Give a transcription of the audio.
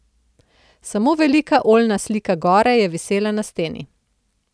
Samo velika oljna slika gore je visela na steni.